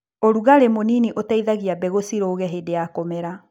ũrugarĩ mũnini ũteithagie mbegũ cirũge hĩndĩ ya kũmera.